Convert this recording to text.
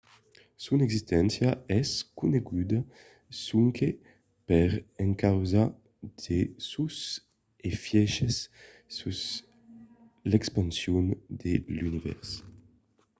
son existéncia es coneguda sonque per encausa de sos efièches sus l’expansion de l’univèrs